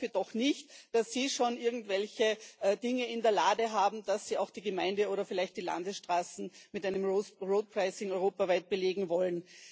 Ich hoffe doch nicht, dass Sie schon irgendwelche Dinge in der Schublade haben, dass Sie auch die Gemeinde oder vielleicht die Landesstraßen europaweit mit einem road pricing belegen wollen.